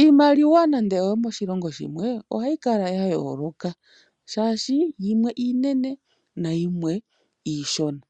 Iimaliwa nando oyo moshilongo shimwe ohayi kala ya yooloka, oshoka yimwe iinene nayimwe iishona.